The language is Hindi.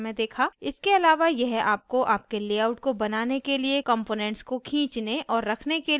इसके अलावा यह आपको आपके लेआउट को बनाने के लिए components को खींचने और रखने के लिए एक आसान interface देता है